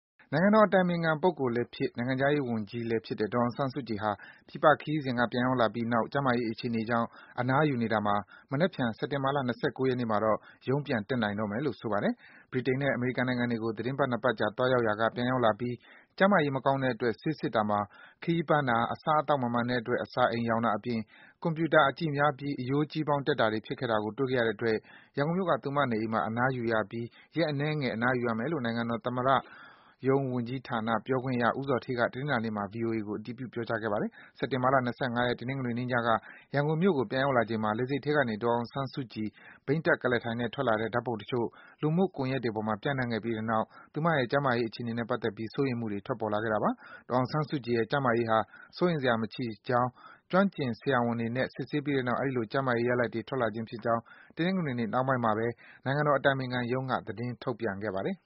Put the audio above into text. နိုင်ငံတော် အတိုင်ပင်ခံပုဂ္ဂိုလ်လည်းဖြစ်၊ နိုင်ငံခြားရေးဝန်ကြီးလည်းဖြစ်တဲ့ ဒေါ်အောင်ဆန်း စုကြည်ဟာ ပြည်ပခရီးစဉ်က ပြန်ရောက်လာပြီးနောက် ကျန်းမာရေးအခြေအနေကြောင့် အနားယူနေတာမှာ မနက်ဖြန် စက်တင်ဘာလ ၂၉ ရက်နေ့မှာတော့ ရုံးပြန်တက်နိုင်တော့မယ်လို့ ဆိုပါတယ်။ ဗြိတိန်နဲ့ အမေရိကန်နိုင်ငံတွေကို သီတင်းပတ် ၂ ပတ်ကြာ သွားရောက်ရာက ပြန်ရောက်လာပြီး ကျန်းမာရေး မကောင်းတဲ့အတွက် စစ်ဆေးတာမှာ ခရီးပန်းတာ၊ အစားအသောက်မမှန်တဲ့အတွက် အစာအိမ်ရောင်တာအပြင် ကွန်ပြူတာကြည့်တာများပြီး အရိုးကြီးပေါင်း တက်တာတွေ ဖြစ်တာကို တွေ့ခဲ့ရတဲ့အတွက် ရန်ကုန်မြို့က သူမအိမ်မှာ အနားယူနေရပြီး ရက်အနည်းငယ် အနားယူရမယ်လို့ နိုင်ငံတော် သမ္မတရုံးဝန်ကြီးဌာန ပြောခွင့်ရ ဦးဇော်ဌေးက တနင်္လာနေ့မှာ ဗွီအိုအေကို အတည်ပြု ပြောကြားခဲ့ပါတယ်။ စက်တင်ဘာ ၂၅ ရက်၊ တနင်္ဂနွေနေ့ညက ရန်ကုန်မြို့ကို ပြန်ရောက်လာချိန်မှာ လေဆိပ်ထဲကနေ ဒေါ်အောင်ဆန်းစုကြည် ဘီးတပ် ကုလားထိုင်နဲ့ ထွက်လာတဲ့ ဓာတ်ပုံတချို့ လူမှုကွန်ယက်ပေါ်မှာ ပျံ့နှံ့ခဲ့ပြီးနောက် သူမရဲ့ ကျန်းမာရေး အခြေအနေနဲ့ ပတ်သက်ပြီး စိုးရိမ်မှုတွေ ထွက်ပေါ်လာခဲ့တာပါ။ ဒေါ်အောင်ဆန်းစုကြည်ရဲ့ ကျန်းမာရေးဟာ စိုးရိမ်စရာ မရှိကြောင်း၊ ကျွမ်းကျင်ဆရာဝန်တွေနဲ့ စစ်ဆေးပြီးတဲ့နောက် အဲဒီလို ကျန်းမာရေးရလဒ်တွေ ထွက်လာခြင်းဖြစ်ကြောင်း တနင်္ဂနွေနေ့ နှောင်းပိုင်းမှာပဲ နိုင်ငံတော်အတိုင်ပင်ခံပုဂ္ဂိုလ်ရုံးက သတင်းထုတ်ပြန်ခဲ့ပါတယ်